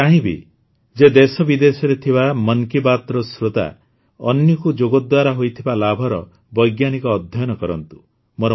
ମୁଁ ଚାହିଁବି ଯେ ଦେଶବିଦେଶରେ ଥିବା ମନ୍ କୀ ବାତ୍ର ଶ୍ରୋତା ଅନ୍ୱୀକୁ ଯୋଗ ଦ୍ୱାରା ହୋଇଥିବା ଲାଭର ବୈଜ୍ଞାନିକ ଅଧ୍ୟୟନ କରନ୍ତୁ